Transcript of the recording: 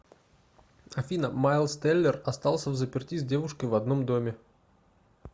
афина майлз теллер остался взаперти с девушкой в одном доме